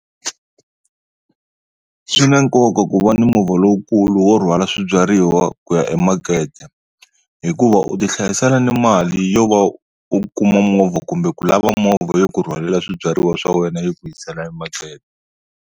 Swi na nkoka ku va ni movha lowukulu wo rhwala swibyariwa ku ya emakete, hikuva u ti hlayisela ni mali yo va u kuma movha kumbe ku lava movha yo ku rhwalela swibyariwa swa wena yi ku yisela emakete.